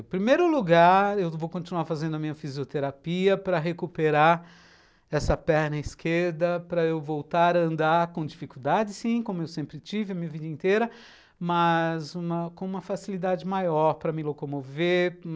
Em primeiro lugar, eu vou continuar fazendo a minha fisioterapia para recuperar essa perna esquerda, para eu voltar a andar com dificuldade, sim, como eu sempre tive a minha vida inteira, mas com uma facilidade maior para me locomover.